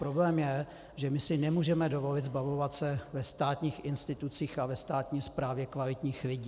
Problém je, že my si nemůžeme dovolit zbavovat se ve státních institucích a ve státní správě kvalitních lidí.